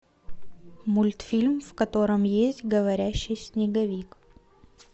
мультфильм в котором есть говорящий снеговик